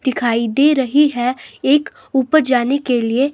दिखाई दे रही है एक ऊपर जाने के लिए---